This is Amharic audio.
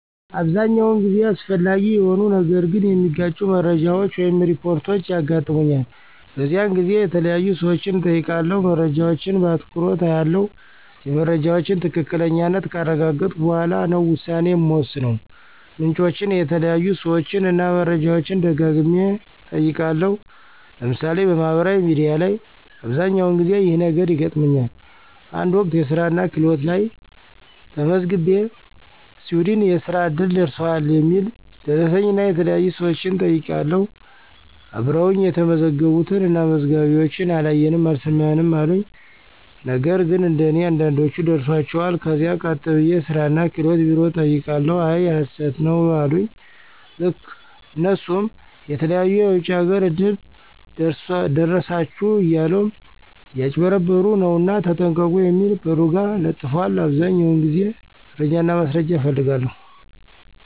አብዛኛውን ጊዜ አስፈላጊ የሆኑ ነገር ግን የመጋጩ መረጃወች ወይም ሪፖርች ያጋጥሙኛል። በዚያን ጊዜ የተያዩ ሰወችን እጠይቃለሁ። መረጃወችን በአትኩሮች አያለሁ የመረጃወችን ትክክለኛነት ካረጋገጥሁ በኋላ ነው ውሳኔ ምወስነው። ምንጮችን፣ የተያዩ ሰወችን እና መረጃወችን ደጋግሚ እጠይቃለሁ። ለምሳሌ፦ በማህበራዊ ሚዲያ ላይ አብዘኛውን ጊዜ ይህ ነገር ይገጥመኛል። አንድ ወቅት የስራናክህሎት ላየ ተመዝግቤ ሲዊድን የእስራ እድል ደርሶሀል የሚል ደረሰኝናየተለያዩ ሰወችን ጠይቅሁ አብረወኝ የተመዘገቡትን እና መዝጋቢወችን አላየንም አልሰማንም አሉኝ። ነግን እንደኔ አንዳንዶች ደርሷቸዋል ከዛ ቀጥ ብየ የስራ እና ክህሎት ቢሮ ጠየቅሁ አይ ሀሰት ነው አሉኝ። ልክ እነሱም የተለያዩ የወጭ አገር እድል ደረሳችሁ እያሉ እያጭበረበሩ ነውና ተጠንቀቁ የሚል በሩ ጋ ለጥፈዋል። አብዛኛውን ጊዜ መረጃና ማስረጃ እፈልጋለሁ።